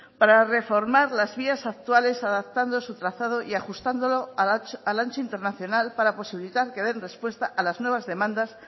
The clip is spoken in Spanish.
para reformar las vías actuales adaptando su trazado y ajustándolo al ancho internacional para posibilitar que den respuesta a las nuevas demandas